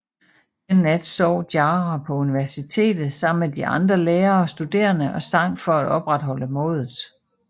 Den nat sov Jara på universitet sammen med de andre lærere og studerende og sang for at opretholde modet